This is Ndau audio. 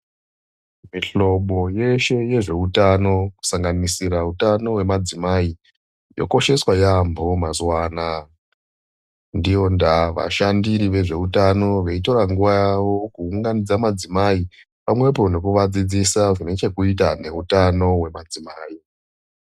Mihlobo yeshe yezveutano kusanganisira utano hwemadzimai yokosheswa yaambo mazuwanaya. Ndiyo ndaya vashandiri vezveutano veitora nguva yavo kuunganidza madzimai pamwepo nekuvadzidzisa zvine chekuita neutano wemadzimai.